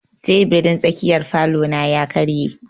Teburin tsakiyar falo na ya karye.